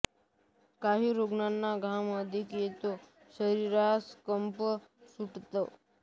काही रुग्णांना घाम अधिक येतो शरीरास कंप सुटतो